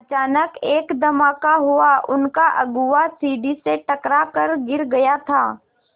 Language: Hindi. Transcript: अचानक एक धमाका हुआ उनका अगुआ सीढ़ी से टकरा कर गिर गया था